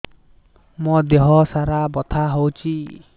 ମୋ ଦିହସାରା ବଥା ହଉଚି